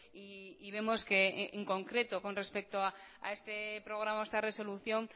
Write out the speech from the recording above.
y vemos que en concreto respecto a este programa o esta resolución